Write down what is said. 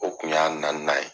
O kun y'a naaninan ye.